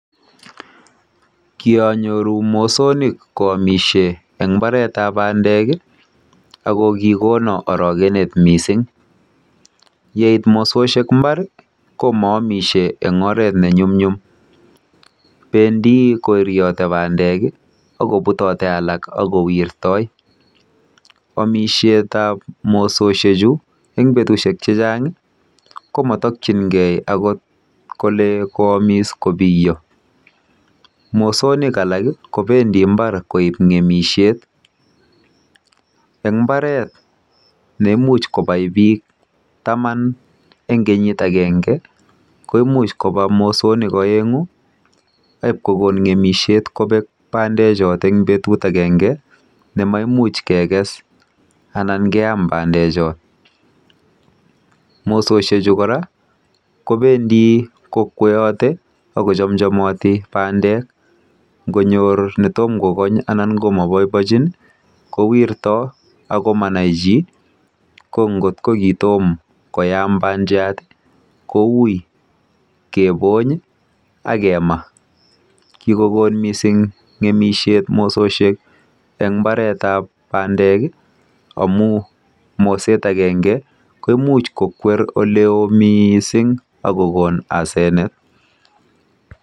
Kionyoru mosonik ko omishe en mbaretab bandek ii ako kogonon orokenet missing, yeit mososhek mbar ko moomishe en oret ne nyumnyum bendi koriote bandek ii aki putote alak ak kowirtoi. Omishetab mososhe chu en betushek chechang ko motokyin gee ako kole kwomis kobiyo mosonik alak kobendii mbar koib ngemisiet en mbaret nemuch kobai biik taman en kenyit angenge komuch kobaa mosonik oengu ak koib kogon ngemisiet kobek bandek chotet en betut angenge ne maimuch keges anan keam bandek chon. Mososhek chu koraa kobendii kokwoote ako chom chomoti bandek ngonyor ne kogony ana ne tom korur komo boiboiechin ko wirtoi ako Manai chi ko ngot kitom koyam bandiat ko uii kebony ak kemaa. Kigogon missing ngemisiet mososhek en mbaretab bandek amun moset angenge komuch kokwer ole oo missing ako gon asenet